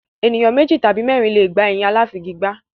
Ènìyàn méjì tàbí mẹ́ẹ́rin le è gbà ẹyin aláfigigbá.